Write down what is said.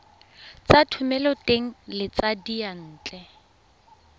tsa thomeloteng le tsa diyantle